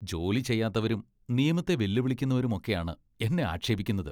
ജോലി ചെയ്യാത്തവരും, നിയമത്തെ വെല്ലുവിളിക്കുന്നവരുമൊക്കെയാണ് എന്നെ ആക്ഷേപിക്കുന്നത്.